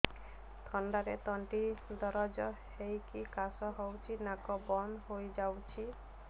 ଥଣ୍ଡାରେ ତଣ୍ଟି ଦରଜ ହେଇକି କାଶ ହଉଚି ନାକ ବନ୍ଦ ହୋଇଯାଉଛି